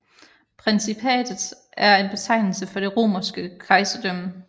Principatet er en betegnelse for det romerske kejserdømme